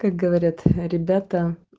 как говорят ребята